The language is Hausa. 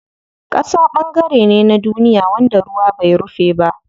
Ƙasa ɓangare ne na duniya wanda ruwa bai rufe ba.